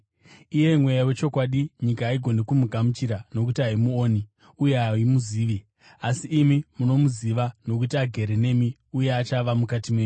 iye Mweya wechokwadi. Nyika haigoni kumugamuchira, nokuti haimuoni uye haimuzivi. Asi imi munomuziva, nokuti agere nemi uye achava mukati menyu.